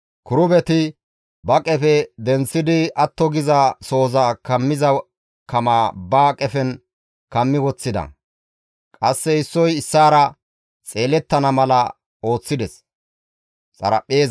Kirubeti ba qefe denththidi atto geetettiza sohoza kammiza kama ba qefen kammi woththida; qasse issoy issaara xeelettana mala ooththides.